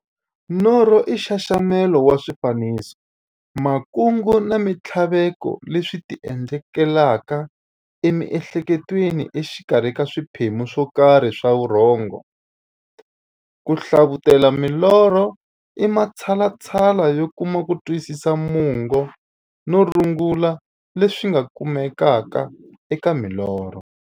Norho i nxaxamelo wa swifaniso, makungu na minthlaveko leswi ti endlekelaka e mi'hleketweni exikarhi ka swiphemu swokarhi swa vurhongo. Ku hlavutela milorho i matshalatshala yo kuma kutwisisa mungo na rungula leri nga kumekaka eka milorho.